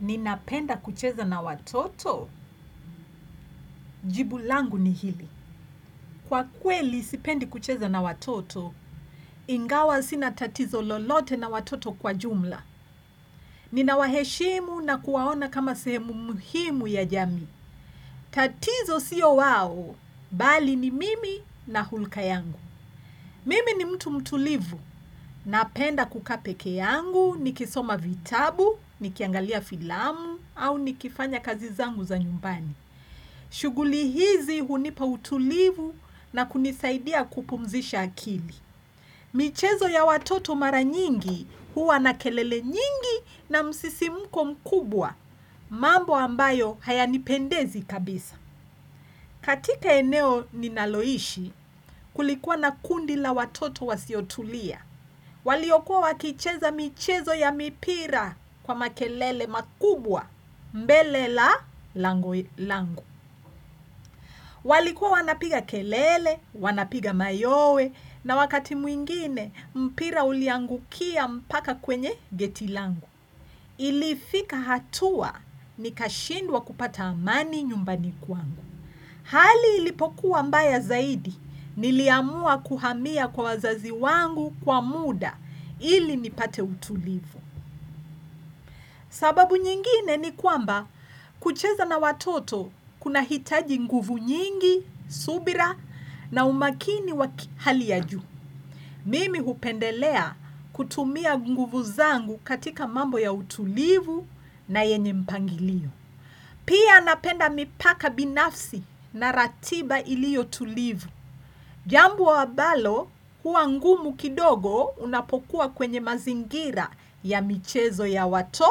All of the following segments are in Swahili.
Ninapenda kucheza na watoto, jibulangu ni hili. Kwa kweli sipendi kucheza na watoto, ingawa sina tatizo lolote na watoto kwa jumla. Ninawaheshimu na kuwaona kama sehemu muhimu ya jami. Tatizo sio wao, bali ni mimi na hulka yangu. Mimi ni mtu mtulivu, napenda kukapekee yangu, nikisoma vitabu, nikiangalia filamu, au nikifanya kazi zangu za nyumbani. Shughuli hizi hunipa utulivu na kunisaidia kupumzisha akili michezo ya watoto mara nyingi huwa na kelele nyingi na msisimko mkubwa mambo ambayo haya nipendezi kabisa katika eneo ninaloishi kulikua na kundila watoto wasiotulia waliokuwa wakicheza michezo ya mipira kwa makelele makubwa mbelela lango langu walikuwa wanapiga kelele, wanapiga mayowe na wakati mwingine mpira uliangukia mpaka kwenye getilangu. Ilifika hatua nikashindwa kupata amani nyumbani kwangu. Hali ilipokuwa mbaya zaidi niliamua kuhamia kwa wazazi wangu kwa muda ili nipate utulivu. Sababu nyingine ni kwamba kucheza na watoto kuna hitaji nguvu nyingi, subira na umakini wakihali ya juu. Mimi hupendelea kutumia nguvu zangu katika mambo ya utulivu na yenye mpangilio. Pia napenda mipaka binafsi na ratiba ilio tulivu. Jambo abalo huangumu kidogo unapokuwa kwenye mazingira ya michezo ya wato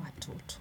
watoto.